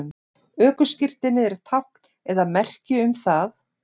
ökuskírteinið er tákn eða merki um það